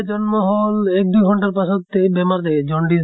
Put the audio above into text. জন্ম হʼল, এক দুই ঘন্টাৰ পাছত এই বেমাৰ দে জন্ডিচ ধৰে।